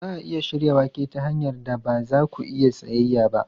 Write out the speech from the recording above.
Za a iya shirya wake ta hanyar da ba za ku iya tsayayya ba.